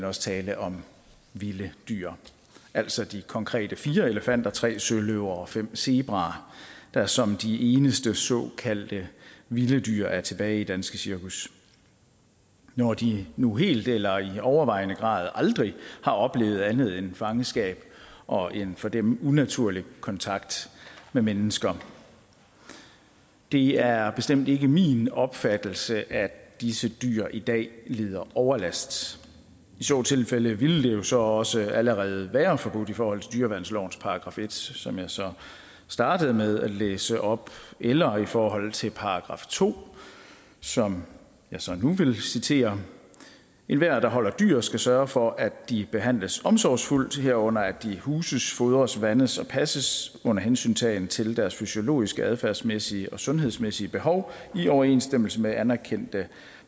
også tale om vilde dyr altså de konkrete fire elefanter tre søløver og fem zebraer der som de eneste såkaldte vilde dyr er tilbage i danske cirkus når de nu helt eller i overvejende grad aldrig har oplevet andet end fangenskab og en for dem unaturlig kontakt med mennesker det er bestemt ikke min opfattelse at disse dyr i dag lider overlast i så tilfælde ville det jo så også allerede være forbudt i forhold til dyreværnslovens § en som jeg så startede med at læse op eller i forhold til § to som jeg så nu vil citere enhver der holder dyr skal sørge for at de behandles omsorgsfuldt herunder at de huses fodres vandes og passes under hensyntagen til deres fysiologiske adfærdsmæssige og sundhedsmæssige behov i overensstemmelse med anerkendte